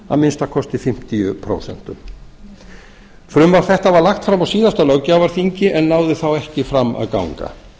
að minnsta kosti fimmtíu prósent frumvarp þetta var lagt fram á síðasta löggjafarþingi en náði þá ekki fram að ganga